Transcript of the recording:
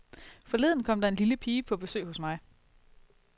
Forleden kom der en lille pige på besøg hos mig.